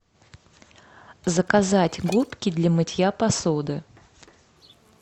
заказать губки для мытья посуды